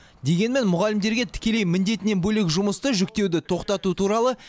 дегенмен мұғалімдерге тікелей міндетінен бөлек жұмысты жүктеуді тоқтату туралы